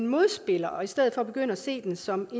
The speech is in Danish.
modspillere og i stedet for begynde at se dem som